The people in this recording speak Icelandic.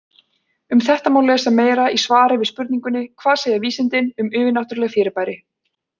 Um þetta má lesa meira í svari við spurningunni Hvað segja vísindin um yfirnáttúrleg fyrirbæri?